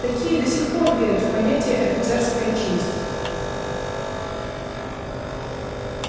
такие до сих пор верят в понятие офицерская честь